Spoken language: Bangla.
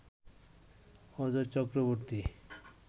অজয় চক্রবর্তী